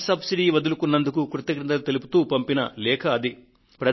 gas సబ్సిడీని వదులుకున్నందుకు కృతజ్ఞతలు తెలుపుతూ పంపిన లేఖ అది